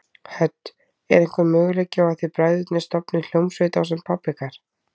Hödd: Er einhver möguleiki á að þið bræðurnir stofnið hljómsveit ásamt pabba ykkar?